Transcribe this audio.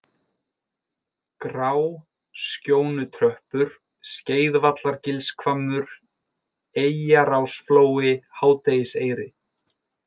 Gráskjónutröppur, Skeiðvallargilshvammur, Eyjarásflói, Hádegiseyri